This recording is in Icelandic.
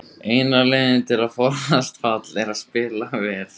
Eina leiðin til að forðast fall er að spila vel.